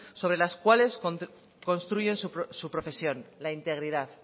sobre las cuales construyen su profesión la integridad